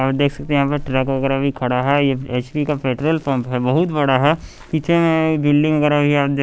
आप देख सकते हैं यहां पे ट्रक वगैरह भी खड़ा है यह एच_पी का पेट्रोल पंप है बहुत बड़ा है पीछे में बिल्डिंग वगैरह आप दे--